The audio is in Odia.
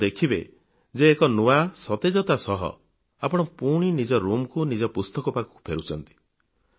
ଆପଣ ଦେଖିବେ ଯେ ଏକ ନୂଆ ସତେଜତା ସହ ଆପଣ ପୁଣି ନିଜ ରୁମ୍ କୁ ନିଜ ପୁସ୍ତକ ପାଖକୁ ଫେରୁଛନ୍ତି